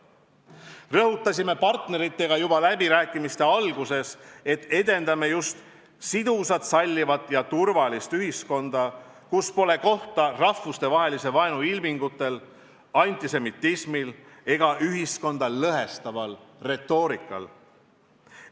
Rõhutasime partneritega juba läbirääkimiste alguses, et edendame just sidusat, sallivat ja turvalist ühiskonda, kus pole kohta rahvastevahelise vaenu ilmingutel, antisemitismil ega ühiskonda lõhestaval retoorikal.